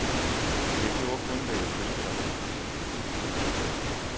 Jeg gjorde kun, hvad jeg følte var rigtigt.